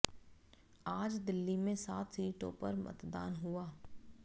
आज दिल्ली में सात सीटों पर मतदान हुआ